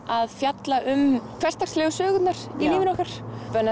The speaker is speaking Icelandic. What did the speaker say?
að fjalla um hversdagslegu sögurnar í lífi okkar